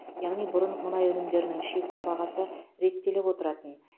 яғни бұрын мұнай өнімдерінің шекті бағасы реттеліп отыратын